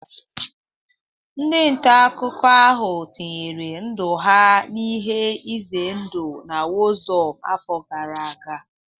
Ndị nta akụkọ ahụ tinyere ndụ ha n'ihe ize ndụ na warzone afọ gara aga